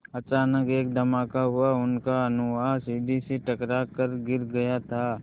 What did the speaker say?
अचानक एक धमाका हुआ उनका अगुआ सीढ़ी से टकरा कर गिर गया था